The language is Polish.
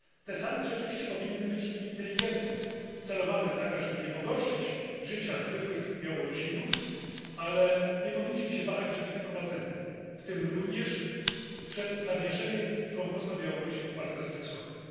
Te sankcje oczywiście powinny być inteligentne, celowane tak, ażeby nie pogorszyć życia zwykłych Białorusinów, ale nie powinniśmy się wahać przed ich wprowadzeniem, w tym również przed zawieszeniem członkostwa Białorusi w Partnerstwie Wschodnim.